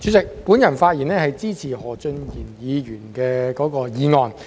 主席，我發言支持何俊賢議員的議案。